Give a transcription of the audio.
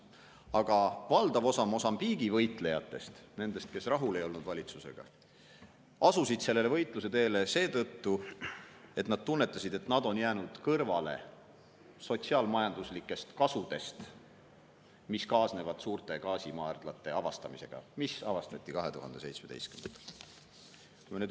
Aga valdav osa Mosambiigi võitlejatest – nendest, kes rahul ei olnud valitsusega – asus sellele võitluse teele seetõttu, et nad tunnetasid, et nad on jäänud kõrvale sotsiaal-majanduslikest kasudest, mis kaasnevad suurte gaasimaardlate avastamisega, mis avastati 2017. aastal.